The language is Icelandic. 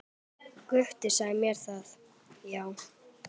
Gutti sagði mér það, já.